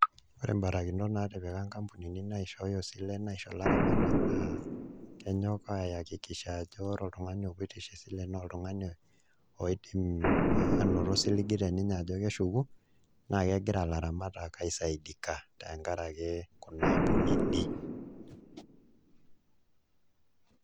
Ore mbarakinot naatipika nkapunini naishooyo isilen aisho ilaramatak naa kenyok aiakikisha ajo ore oltung'ani opoito aisho esile naa oltung'ani oidim aanoto osiligi teninye ajo keshuku naa kegira ilaramatak aisaidika tenkaraki kuna ampunini.